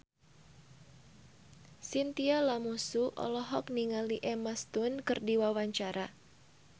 Chintya Lamusu olohok ningali Emma Stone keur diwawancara